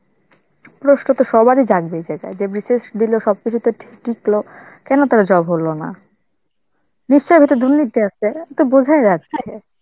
প্রশ্ন তো সবারই জাগবে যেটা~ যে BCS দিল, সবকিছুতে ঠিক লিখল, কেনো তার job হলো না? নিশ্চয়ই এটা দুর্নীতি আছে, এটা বোঝাই যাচ্ছে.